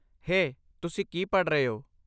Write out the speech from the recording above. ਹੇ, ਤੁਸੀਂ ਕੀ ਪੜ੍ਹ ਰਹੇ ਹੋ?